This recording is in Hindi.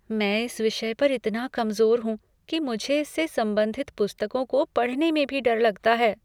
मैं इस विषय पर इतना कमज़ोर हूँ कि मुझे इससे संबंधित पुस्तकों को पढ़ने में भी डर लगता है।